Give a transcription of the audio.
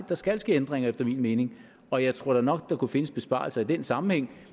der skal ske ændringer efter min mening og jeg tror da nok at der kunne findes besparelser i den sammenhæng